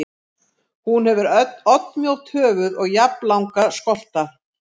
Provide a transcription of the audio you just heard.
Hún hefur oddmjótt höfuð og jafnlanga skolta.